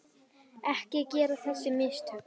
Ekki gera þessi mistök.